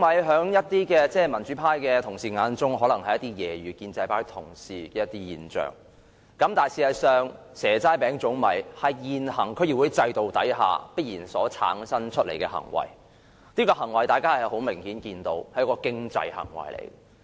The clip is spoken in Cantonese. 在一些民主派同事的眼中，"蛇齋餅粽米"可能只是用來揶揄建制派同事的現象，但事實上，"蛇齋餅粽米"是現行區議會制度下所必然產生的行為，而這種行為明顯是經濟行為。